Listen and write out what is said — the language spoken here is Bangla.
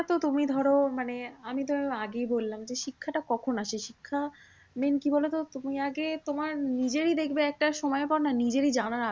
এটাতো তুমি ধরো মানে আমি তো আগেই বললাম যে শিক্ষা টা কখন আসে? শিক্ষা main কি বলতো? তুমি আগে তোমার নিজেই দেখবে একটা সময় নিজেরই জানার আগ্রহ